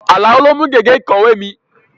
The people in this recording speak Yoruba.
Àlàó lo mú gègé ìkọ̀wé mi